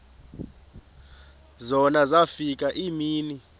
zona zafika iimini